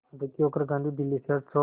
दुखी होकर गांधी दिल्ली शहर छोड़